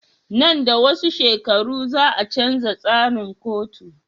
Nan da wasu shekaru za a canja tsarikan katu